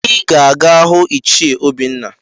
Ị ga-aga hụ ichie Obinna!